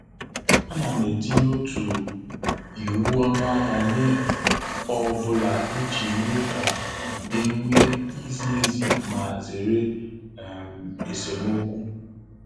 Ana m etinye otu iwu ọnụahịa nye ọ bụla iji mee ka e nwee izi ezi ma zere um esemokwu.